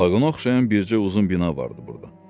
Vaqona oxşayan bircə uzun bina vardı burda.